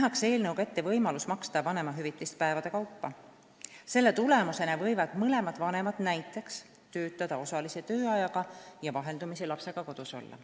Selle tulemusena võivad mõlemad vanemad näiteks töötada osalise tööajaga ja vaheldumisi lapsega kodus olla.